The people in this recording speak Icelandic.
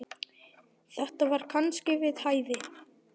Þetta var kannski við hæfi.